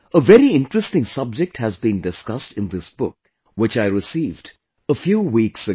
A very interesting subject has been discussed in this book which I received a few weeks ago